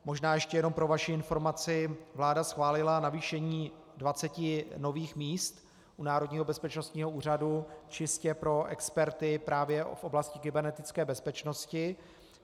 Možná ještě jenom pro vaši informaci, vláda schválila navýšení 20 nových míst u Národního bezpečnostního úřadu čistě pro experty právě v oblasti kybernetické bezpečnosti.